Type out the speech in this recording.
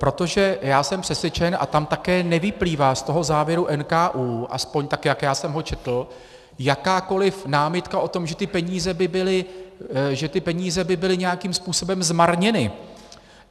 Protože já jsem přesvědčen - a tam také nevyplývá z toho závěru NKÚ, aspoň tak jak já jsem ho četl, jakákoliv námitka o tom, že ty peníze by byly nějakým způsobem zmarněny.